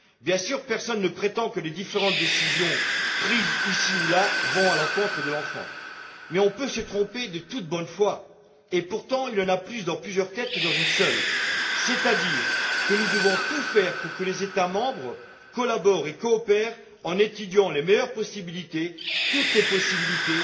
Bien sûr, personne ne prétend que les différentes décisions prises ici ou là vont à l'encontre de l'enfant, mais on peut se tromper en toute bonne foi. Partant du principe qu'il y en a plus dans plusieurs têtes que dans une seule, nous devons tout faire pour que les États membres collaborent et coopèrent en étudiant les meilleures possibilités, toutes les possibilités,